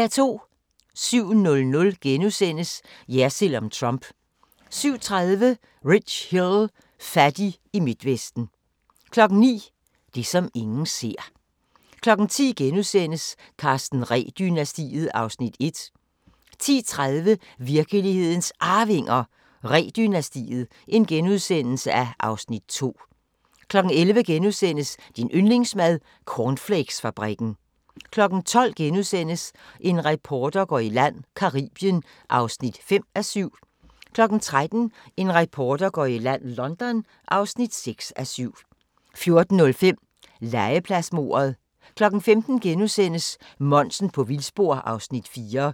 07:00: Jersild om Trump * 07:30: Rich Hill – fattig i Midtvesten 09:00: Det, som ingen ser 10:00: Karsten Ree-dynastiet (Afs. 1)* 10:30: Virkelighedens Arvinger: Ree-dynastiet (Afs. 2)* 11:00: Din yndlingsmad: Cornflakesfabrikken * 12:00: En reporter går i land: Caribien (5:7)* 13:00: En reporter går i land: London (6:7) 14:05: Legepladsmordet 15:00: Monsen på vildspor (4:5)*